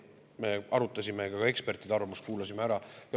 Me arutasime, kuulasime ära ka ekspertide arvamuse.